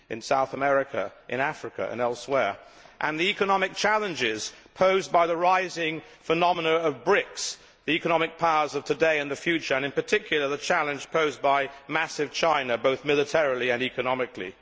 South America, Africa and elsewhere, as well as the economic challenges posed by the rising phenomena of BRICs, the economic powers of today and the future, and in particular the challenge posed by massive China, both militarily and economically.